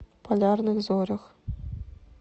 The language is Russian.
полярных зорях